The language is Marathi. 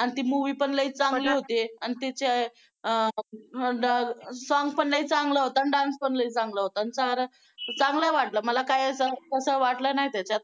आणि ती movie पण चांगली होते तिचे अं song पण लई चांगलं होता आणि dance पण लई चांगला होता. चांगलं वाटलं मला काय तसं वाटलं नाही त्याच्यात